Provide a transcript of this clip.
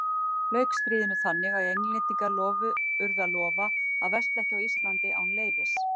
Lauk stríðinu þannig að Englendingar urðu að lofa að versla ekki á Íslandi án leyfis.